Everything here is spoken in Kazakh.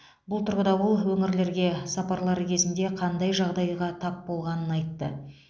бұл тұрғыда ол өңірлерге сапарлары кезінде қандай жағдайға тап болғанын айтты